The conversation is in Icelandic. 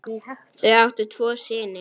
Þau áttu tvo syni.